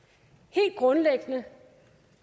helt grundlæggende